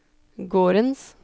gårdens